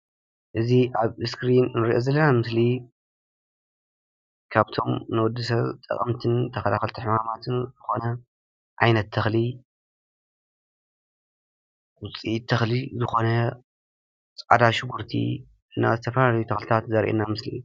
እዚ ኣብ እስክሪን ንሪኦ ዘለና ምስሊ ካብቶም ንወዲ ሰብ ጠቐምትን ተኸላኸልትን ሕማማትን ዝኾነ ዓይነት ተኽሊ ዉፅኢት ተኽሊ ዝኾነ ፃዕዳ ሽጉርቲ እና ዝተፈላለዩ ተኽሊታት ዘሪአና ምስሊ እዩ፡፡